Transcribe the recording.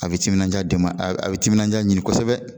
A be timinanja deman a a be timinanjaj ɲni kosɛbɛ